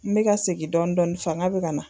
N me me segin dɔni dɔni fanga be ka na